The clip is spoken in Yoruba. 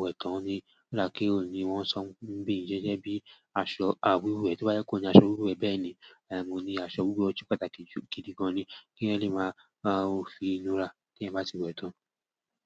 wẹ̀ tán ni. Rárá kí oun ni wọ́n sọ ń bi i, ṣé jẹ́ bí aṣọ àwuwẹ̀ tí ọ́ bá je pe ọun ni aṣọ awùwẹ̀ bẹ́ẹ̀ ni. Mo ní aṣọ awùwẹ̀ ojú pàtàkì jù gidi gan ni. K'eeyań lè máa fi inura kí ẹ bá ti wẹ̀ tán.